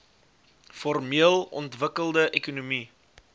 formeel ontwikkelde ekonomie